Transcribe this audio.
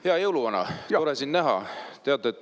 Hea jõuluvana, tore sind näha!